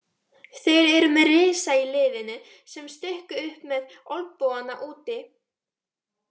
Þeir eru með risa í liðinu sem stukku upp með olnbogana úti.